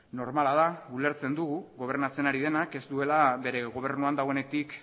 normala da ulertzen dugu gobernatzen ari denak ez duela bere gobernuan dagoenetik